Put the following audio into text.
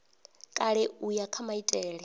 kale u ya kha maitele